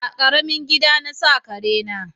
A ƙaramin gida na sa kare na